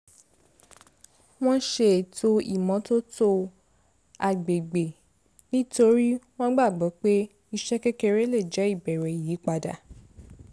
wọ́n ṣe ètò ìmọ́tótó agbègbè nítorí wọ́n gbàgbọ́ pé iṣẹ́ kékeré lè jẹ́ ìbẹ̀rẹ̀ ìyípadà